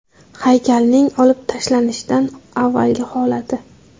Haykalning olib tashlanishidan avvalgi holati.